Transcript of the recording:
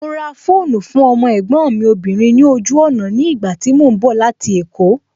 Mo ra fóònù fún ọmọ ẹ̀gbọ́n mi obìnrin ní ojú ọ̀nà ní ìgbà tí mo ń bọ̀ láti èkó